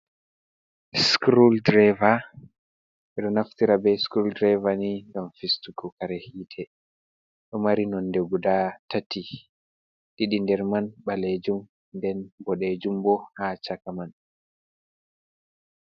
Scroo drava. Ɓe ɗo naftira be scroo drava ni ngam fistuku kare hite ɗo mari nonde guda tati didi nder man ɓalejum nden bodejum bo ha chaka man.